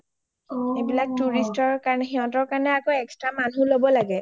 এইবিলাক tourist ৰ কাৰণে মানুহ ল’ব লাগে সেইকাৰণে আৰু extra মানুহ ল’ব লাগে